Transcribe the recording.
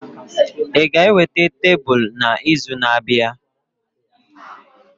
Ị ga-eweta tebụl n'izu na-abịa?